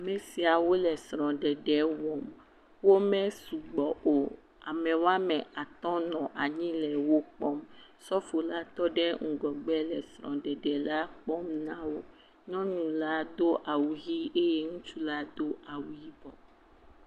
Me siawo le srɔ̃ɖeɖe wɔm. wome sugbɔ o. Am e woame atɔ̃ nɔ anyi le wokpɔm. Sɔfola tɔ ɖe ŋgɔgbe le srɔ̃ɖeɖela kpɔm na wo. Nyɔnula do awu ʋii eye ŋutsula do awu yibɔ.